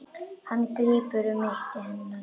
Hann grípur um mitti hennar.